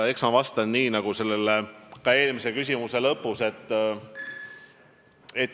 Eks ma vastan samamoodi nagu eelmise küsimuse lõpus.